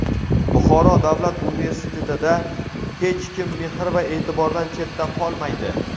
Buxoro davlat universitetida "Hech kim mehr va e’tibordan chetda qolmaydi!"